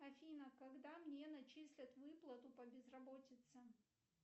афина когда мне начислят выплату по безработице